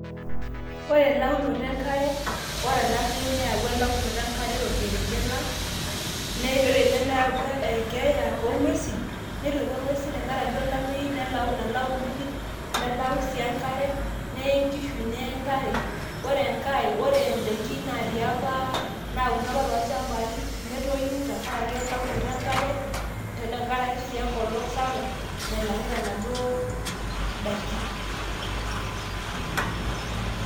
ore elaunoto enkare, ore elaunoto enkare tolkerenket lang .ore ena neyawua keeya oong'uesin ,netuata inguesin tenkaraki olameyu nalau inkujit, nelau sii enkare, neye nkishuneye ntare ore idaikin taii apa, anauno apa toolchampai, netoyu tenkaraki elaunoto enkare, wwnkolong' sii sapuk, nailangita enaduoo daikin.